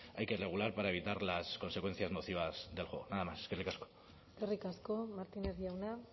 hay que regular para evitar las consecuencias nocivas del juego nada más eskerrik asko eskerrik asko martínez jauna